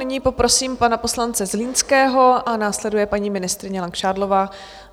Nyní poprosím pana poslance Zlínského a následuje paní ministryně Langšádlová.